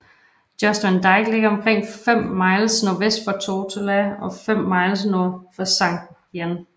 Jost Van Dyke ligger omkring 5 miles nordvest for Tortola og 5 miles nord for Sankt Jan